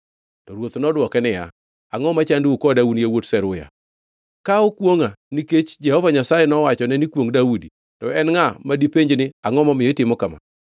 To ruoth nodwoke niya, “Angʼo machandou koda un yawuot Zeruya? Ka okwongʼa nikech Jehova Nyasaye nowachone ni, ‘Kwongʼ Daudi,’ to en ngʼa madipenj ni, ‘Angʼo momiyo itimo kama?’ ”